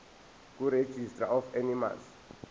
kuregistrar of animals